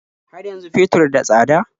Har yanzu fetur da tsada?